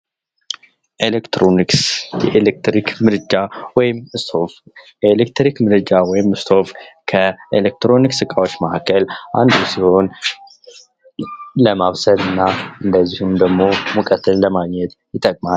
ኤሌክትሮኒክስ የኤሌክትሪክ ምደጃ ከኤሌክትሮኒክስ መሳሪያዎች ውስጥ ሲሆን ለማብሰልና እንደዚሁም ሙቀትን ለማግኘት ይጠቅማል።